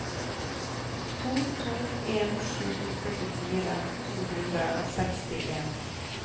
to to en sju førtifire to hundre og sekstien